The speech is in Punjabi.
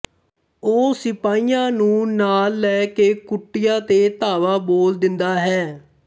ਉਹ ਸਿਪਾਹੀਆਂ ਨੂੰ ਨਾਲ ਲੈ ਕੇ ਕੁਟੀਆ ਤੇ ਧਾਵਾ ਬੋਲ ਦਿੰਦਾ ਹੈ